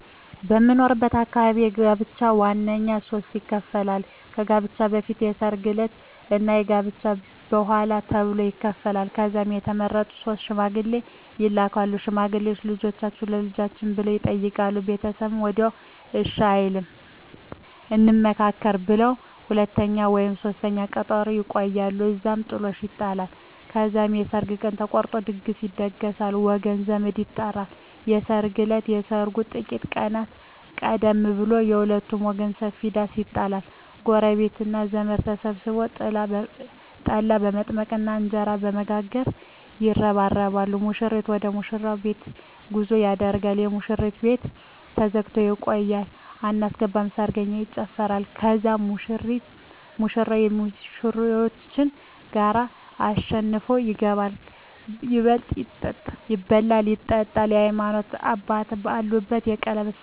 በምኖርበት አካባቢ ጋብቻ በዋናነት በሦስት ይከፈላል። ከጋብቻ በፊት፣ የሰርግ ዕለት እና ከጋብቻ በኋላ ተብሎ ይከፈላል። ከዛም የተመረጡ ሶስት ሽማግሌዎች ይላካሉ። ሽማግሌዎቹ "ልጃችሁን ለልጃችን" ብለው ይጠይቃሉ። ቤተሰብ ወዲያውኑ እሺ አይልም፤ "እንመካከርበት" ብለው ለሁለተኛ ወይም ለሦስተኛ ቀጠሮ ያቆያሉ። እዛም ጥሎሽ ይጣላል። ከዛም የሰርግ ቀን ተቆርጦ ድግስ ይደገሳል፣ ወገን ዘመድ ይጠራል። የሰርግ እለት ከሰርጉ ጥቂት ቀናት ቀደም ብሎ በሁለቱም ወገን ሰፊ ዳስ ይጣላል። ጎረቤትና ዘመድ ተሰብስቦ ጠላ በመጥመቅና እንጀራ በመጋገር ይረባረባል። ሙሽራው ወደ ሙሽሪት ቤት ጉዞ ያደርጋል። የሙሽሪት ቤት ተዘግቶ ይቆያል። አናስገባም ሰርገኛ ይጨፋራል። ከዛም ሙሽራው ከሚዜዎቹ ጋር አሸንፎ ይገባል። ይበላል ይጠጣል፣ የሀይማኖት አባት ባለበት የቀለበት ስነ ስሮአት ይሆናል